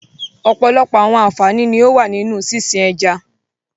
Ọpọlọpọ̀ awọn ànfàní ní o wà nínu sísìn ẹ̀já.